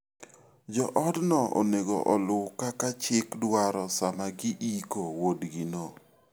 Joodno onego oluw kaka chik dwaro sama giiko wuodgino.